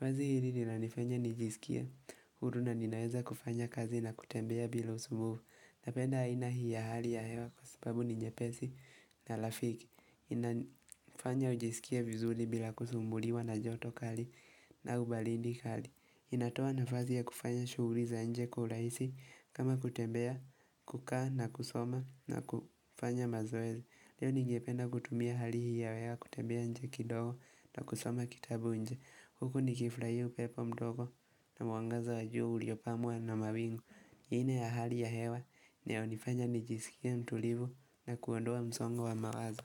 Wazo hili nila nifanya nijisikie, huruna ninaweza kufanya kazi na kutembea bila usumbufu Napenda aina hii ya hali ya hewa kwa sababu ninye pesi na lafiki inafanya ujisikie vizuri bila kusumbuliwa na joto kali au baridi kali inatoa na fasi ya kufanya shughuliza nje kwa urahisi kama kutembea kukaa na kusoma na kufanya mazoezi Leo ningependa kutumia hali hii hewa kutembea nje kidogo na kusoma kitabu nje Huku nikifurahia upepo mdogo na mwangaza wa juu uliopamwa na mawingu Hii ni ya hali ya hewa inayo nifanya nijisikie mtulivu na kuondoa msongo wa mawazo.